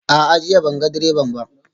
A'a, jiya ban ga direban ba